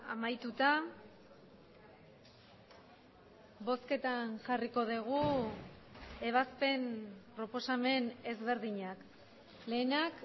amaituta bozketan jarriko dugu ebazpen proposamen ezberdinak lehenak